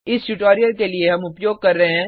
इस ट्यूटोरियल के लिए हम उपयोग कर रहे हैं